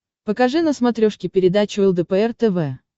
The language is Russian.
покажи на смотрешке передачу лдпр тв